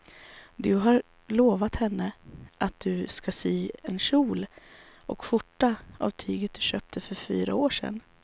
Du har lovat henne att du ska sy en kjol och skjorta av tyget du köpte för fyra år sedan.